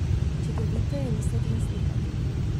Čudovito je risati in slikati.